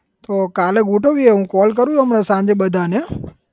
તો કાલે ગોઠવીએ હું call કરું હમણાં સાંજે બધાને